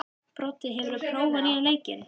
Broddi, hefur þú prófað nýja leikinn?